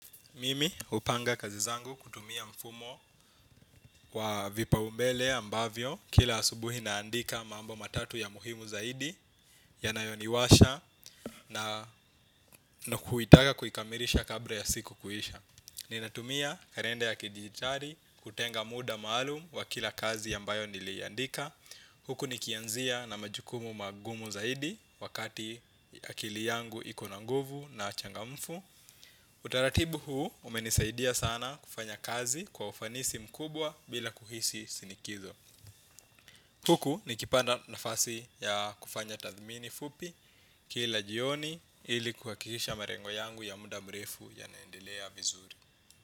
Mimi hupanga kazi zangu kutumia mfumo wa vipaumbele ambavyo kila asubuhi naandika mambo matatu ya muhimu zaidi ya nayoniwasha na kuitaka kuikamilisha kabla ya siku kuisha. Ninatumia kalende ya kidigitali kutenga muda maalum wa kila kazi ambayo niliiandika. Huku nikianzia na majukumu magumu zaidi wakati akili yangu iko na nguvu na changamfu. Utaratibu huu umenisaidia sana kufanya kazi kwa ufanisi mkubwa bila kuhisi shinikizo. Huku nikipanda nafasi ya kufanya tathimini fupi kila jioni ilikuhakikisha malengo yangu ya muda mrefu yanaendelea vizuri.